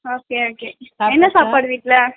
okay okay என்ன சாப்பாடு வீட்டுல?